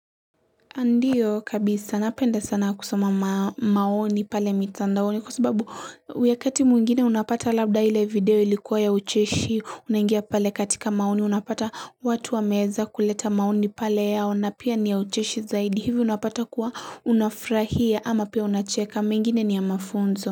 Ndiyo kabisa napenda sana kusoma maoni pale mitandaoni kwa sababu wakati mwingine unapata labda ile video ilikuwa ya ucheshi. Unangia pale katika maoni unapata watu wamewza kuleta maoni pale yao na pia ni ya ucheshi zaidi hivyo unapata kuwa unafurahia ama pia unacheka mengine ni ya mafunzo.